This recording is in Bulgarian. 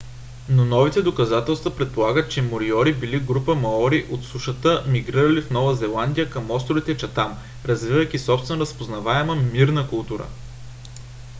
но новите доказателства предполагат че мориори били група маори от сушата мигрирали от нова зеландия към островите чатам развивайки собствена разпознаваема мирна култура